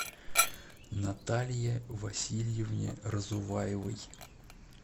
наталье васильевне разуваевой